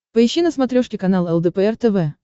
поищи на смотрешке канал лдпр тв